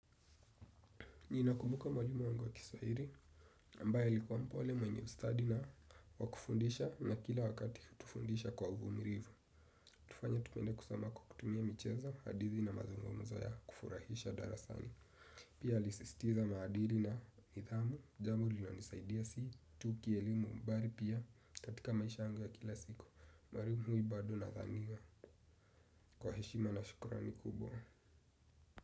Mimi nakumbuka mwalimu wangu wa kiswahili, ambaye alikuwa mpole, mwenye ustadi wa kufundisha na kila wakati hutufundisha kwa uvumilivu. Hutufanya tupende kusoma kwa kukutumia michezo, hadithi na mazungumzo ya kufurahisha darasani. Pia alisistiza maadili na idhamu, jambo linonisaidia si, tu ki elimu mbali pia, katatika maisha yangu ya kila siku. Mwalimu huyu bado nadhani wa. Kwa heshima na shukurani kubwa.